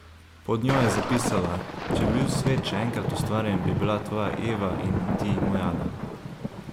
Pod njo je zapisala: ''Če bi bil svet še enkrat ustvarjen, bi bila tvoja Eva in ti moj Adam.